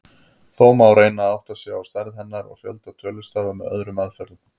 Þó má reyna að átta sig á stærð hennar og fjölda tölustafa með öðrum aðferðum.